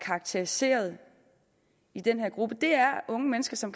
karakteriseret i den her gruppe er unge mennesker som